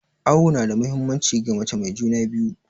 Awo nada muhimmanci ga mace mai juna biyu